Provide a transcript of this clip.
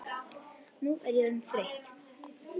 Nú er ég orðin þreytt.